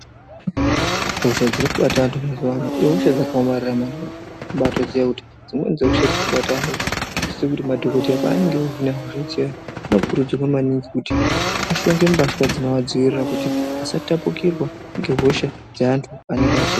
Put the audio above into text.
Hosha dziri kubata antu mazuvano ihosha dzaka omarara maningi kutobai ziya kuti dzimweni dzehosha dziri kutobata antu idzi dzinosise kuti madhokoteya paanenge eyi hina hosha zviyani anokurudzirwa maningi kuti ashonge mbatya dzinova dzivirira kuti asa tapukirwa ngehosha dze antu anenge achi.